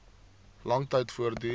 lang tyd voortduur